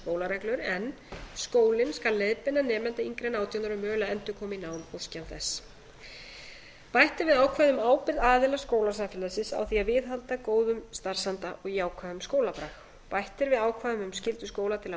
skólareglur en skólinn skal leiðbeina nemanda yngri en átján ára um mögulega endurkomu í nám óski hann þess bætt er við ákvæði um ábyrgð aðila skólasamfélagsins á því að viðhalda góðum starfsanda og jákvæðum skólabrag bætt er við ákvæðum um skyldu skóla til